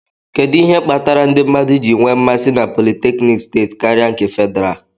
Kedu ihe kpatara ndị mmadụ ji nwee mmasi na politékiniki steeti karịa nke Fedrá?